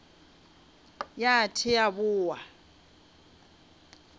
ya th e a boa